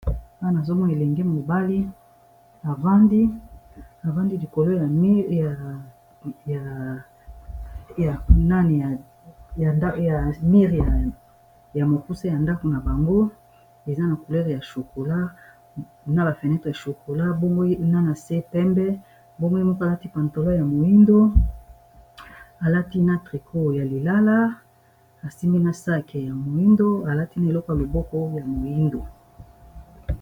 wana azomona elenge mobali vandiavandi likolo ya mireya mokuse ya ndako na bango eza na coulere ya chocola na ba fenetre ya chocola bomgwe na na se pembe bomwi moko alati pantola ya moindo alati na trico ya lilala asimi na ske ya moindo alati na eleko ya loboko ya moindo